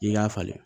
I k'a falen